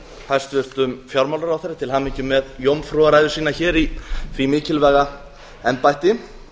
hæstvirtum fjármálaráðherra til hamingju með jómfrúrræðu sína hér í því mikilvæga embætti